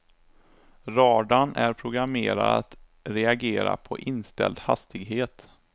Radarn är programmerad att reagera på inställd hastighet.